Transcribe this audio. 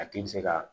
A tigi bɛ se ka